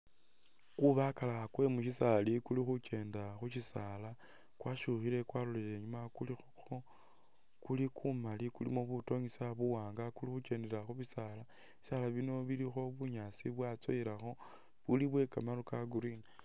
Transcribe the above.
Kubakala kwe mu syisaali kuli khukeenda mu syisaali kwasyukhile kwalolile inyuuma, kuli kumali kulikho butonyisa buwaanga kuli khukendela khu bisaala, bisaala bino bilikho bunyaasi bwatsowelakho, buli bwe kamaru ka Green.